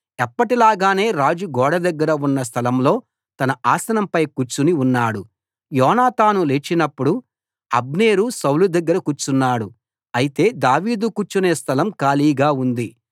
ఎప్పటిలాగానే రాజు గోడ దగ్గర ఉన్న స్థలం లో తన ఆసనంపై కూర్చుని ఉన్నాడు యోనాతాను లేచినపుడు అబ్నేరు సౌలు దగ్గర కూర్చున్నాడు అయితే దావీదు కూర్చునే స్థలం ఖాళీగా ఉంది